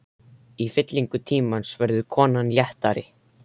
Í fyllingu tímans verður konan léttari.